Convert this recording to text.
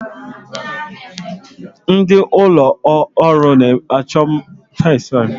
Ndị ụlọọrụ mmepụta na-achọ ndị ọrụ faktọrị